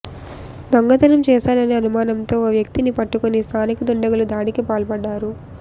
దొంగతనం చేశాడనే అనుమానంతో ఓ వ్యక్తిని పట్టుకుని స్థానిక దుండగులు దాడికి పాల్పడ్డారు